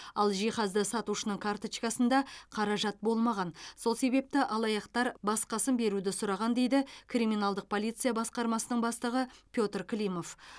ал жиһазды сатушының карточкасында қаражат болмаған сол себепті алаяқтар басқасын беруді сұраған дейді криминалдық полиция басқармасының бастығы петр климов